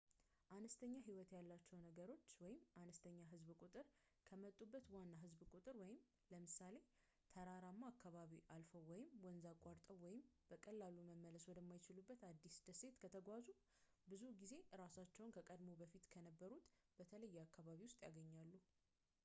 አነስተኛ ህይወት ያላቸው ነገሮች አነስተኛ ህዝብ ቁጥር ከመጡበት ዋና ህዝብ ቁጥር ለምሳሌ ተራራማ አካባቢ አልፈው ወይም ወንዝ አቋርጠው ወይም በቀላሉ መመለስ ወደ የማይችሉበት አዲስ ደሴት ከተጓዙ ብዙ ጊዜ እራሳቸውን ከቀድሞው በፊት ከነበሩበት በተለየ አካባቢ ውስጥ ያገኛሉ፡፡